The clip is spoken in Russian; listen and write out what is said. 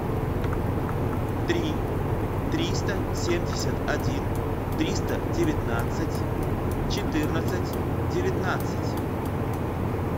три триста семьдесят один триста девятнадцать четырнадцать девятнадцать